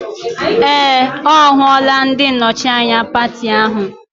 Ee! Ọ hụla ndị nnọchi anya pati ahụ.